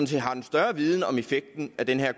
set har en større viden om effekten af den her